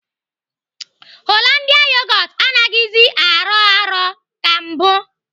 Hollandia yogot anaghịzi arọ arọ ka mbụ.